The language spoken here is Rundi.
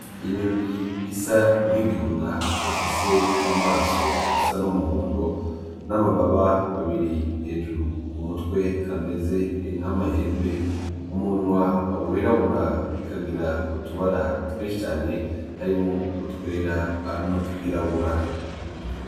Inyoni isa nk'igihuna ifise amaso asa n'umuhondo n'amababa abiri hejuru ku mutwe ameze nk'amahembe, umunwa wirabura ikagira utubara twinshi cane harimwo utwera n'utwirabura.